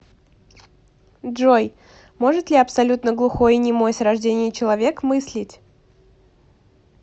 джой может ли абсолютно глухой и немой с рождения человек мыслить